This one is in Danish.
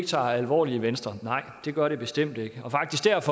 tager alvorligt i venstre nej det gør det bestemt ikke